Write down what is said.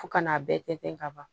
Fo ka n'a bɛɛ tɛntɛn ka ban